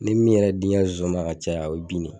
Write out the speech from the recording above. n me min yɛrɛ di n ga zonzani ma ka caya o ye bin ne ye